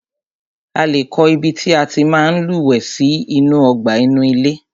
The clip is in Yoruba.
A lé kọ́ ibi tí a tí máa ń lúwẹ̀ẹ́ sí inú ọgbà inú ilé.